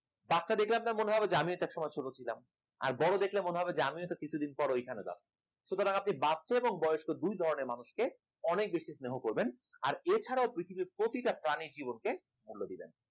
বাচ্চা দেখলে আপনার মনে হবে যে আমিও একটা সময় ছোট ছিলাম আর বড় দেখলে মনে হবে যে আমিও তো কিছুদিন পরে ওইখানে যাব সুতরাং আপনি বাচ্চা এবং বড় দুই ধরনের মানুষকে অনেক বেশি স্নেহ করবেন এছাড়াও আপনি পৃথিবীর প্রতিটা প্রাণীর জীবনকে মূল্য দেবেন